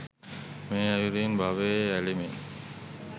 මේ අයුරින් භවයේ ඇලෙමින්